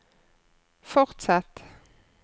fortsett